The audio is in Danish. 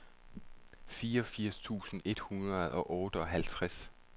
fireogfirs tusind et hundrede og otteoghalvtreds